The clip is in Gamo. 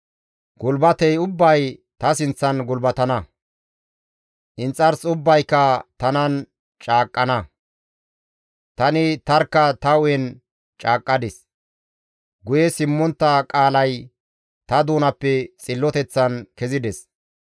Gulbatey ubbay ta sinththan gulbatana; inxars ubbayka tanan caaqqana; Tani tarkka ta hu7en caaqqadis; guye simmontta qaalay ta doonappe xilloteththan kezides.